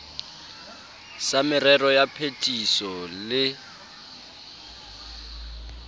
sa merero ya phetiso le